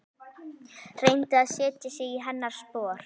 Reyndi að setja sig í hennar spor.